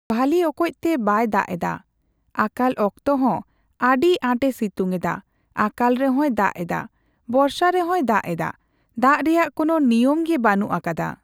ᱵᱷᱟᱞᱤ ᱚᱠᱚᱪ ᱛᱮ ᱵᱟᱭ ᱫᱟᱜᱽ ᱮᱫᱟ ᱾ ᱟᱠᱟᱞ ᱚᱠᱛᱚ ᱦᱚᱸ ᱟᱹᱰᱤ ᱟᱸᱴᱮ ᱥᱤᱛᱩᱝ ᱮᱫᱟ ᱾ ᱟᱠᱟᱞ ᱨᱮᱦᱚᱸᱭ ᱫᱟᱜᱽ ᱮᱫᱟ, ᱵᱚᱨᱥᱟ ᱨᱮᱦᱚᱸᱭ ᱫᱟᱜᱽ ᱮᱫᱟ ᱾ ᱫᱟᱜᱽ ᱨᱮᱭᱟᱜ ᱠᱳᱱᱳ ᱱᱤᱭᱟᱹᱢ ᱜᱮ ᱵᱟᱹᱱᱩᱜ ᱟ ᱠᱟᱫᱟ ᱾